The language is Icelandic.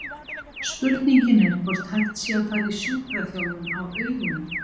Spurningin er hvort hægt sé að fara í sjúkraþjálfun á augunum?